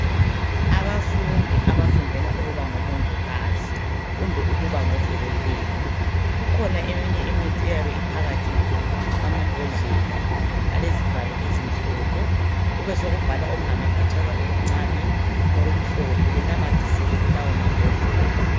Abafundi abafundela ukuba ngomongikazi loba ukuba ngodokotela kukhona eminye imithi eyabe iphakathi kwamambodlela ayabe elezivalo ezimhophe kube sokubhalwa okungamaphetshana okuncane okumhlophe benamathisele kulawo mambodlela